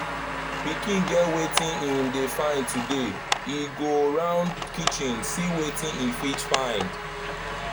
pikin get wetin hin dey find today e go round kitchen see wetin e fit find